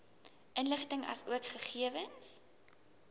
inligting asook gegewens